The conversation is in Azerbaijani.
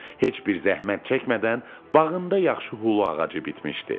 Heç bir zəhmət çəkmədən bağında yaxşı hulu ağacı bitmişdi.